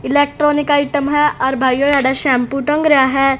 Electronic item है और भाइयों शैंपू टंग रहे हैं।